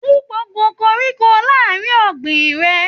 Wú gbogbo koríko láàrin ọ̀gbìn rẹ!